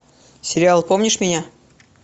сериал помнишь меня